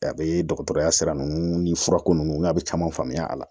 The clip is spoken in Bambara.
A bɛ dɔgɔtɔrɔya sira ninnu ni fura ninnu n'a bɛ caman faamuya a la